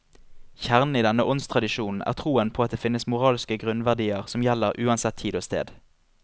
Kjernen i denne åndstradisjonen er troen på at det finnes moralske grunnverdier som gjelder uansett tid og sted.